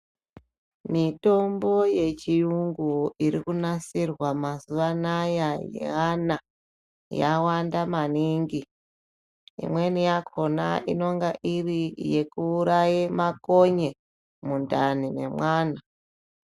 Mitombo yechiyungu irikunasirwa mazuva anaya yeana yawanda maningi. Imweni yakona inenge iri yekuuraye makonye mundani memwana.